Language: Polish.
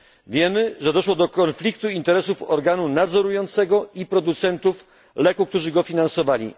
Wiemy, że doszło do konfliktu interesów organu nadzorującego i producentów leku, którzy go finansowali.